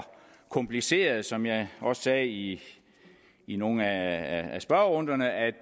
kompliceret som jeg også sagde i i nogle af spørgerunderne er